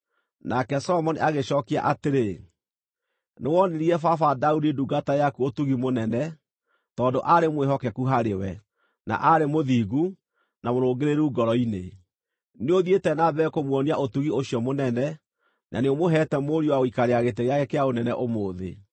Nake Solomoni agĩcookia atĩrĩ, “Nĩwonirie baba Daudi ndungata yaku ũtugi mũnene, tondũ aarĩ mwĩhokeku harĩ we, na aarĩ mũthingu, na mũrũngĩrĩru ngoro-inĩ. Nĩũthiĩte na mbere kũmuonia ũtugi ũcio mũnene, na nĩũmũheete mũriũ wa gũikarĩra gĩtĩ gĩake kĩa ũnene ũmũthĩ.